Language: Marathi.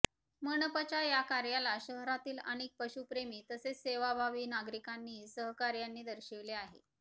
मनपाच्या या कार्याला शहरातील अनेक पशुप्रेमी तसेच सेवाभावी नागरिकांनीही सहकार्याने दर्शविले आहे